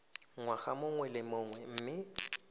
ngwaga mongwe le mongwe mme